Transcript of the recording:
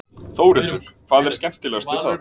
Þórhildur: Hvað er skemmtilegast við það?